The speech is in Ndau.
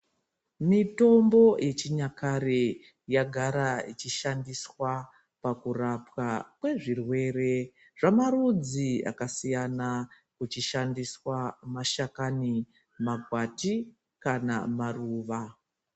Mitombo yechinyakare yakagara ichishandiswa pakurapwa kwezvirwere zvamarudzi akasiyana kuchishandiswa mashakani, makwati kana maruva.